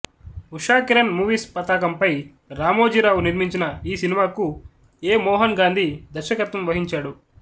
Ushakiran movies పతాకంపై రామోజీరావు నిర్మించిన ఈ సినిమాకు ఎ మోహన్ గాంధీ దర్శకత్వం వహించాడు